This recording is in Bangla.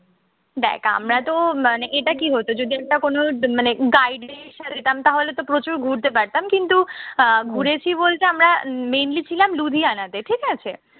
দেখ আমরাতো মানে এটা কি হতো যদি একটা কোনো মানে guide list সাজাতাম তাহলেতো প্রচুর ঘুরতে পারতাম। কিন্তু আহ ঘুরেছি বলতে আমরা mainly ছিলাম লুধিয়ানাতে ঠিক আছে?